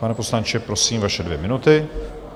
Pane poslanče, prosím, vaše dvě minuty.